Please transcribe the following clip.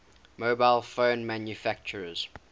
mobile phone manufacturers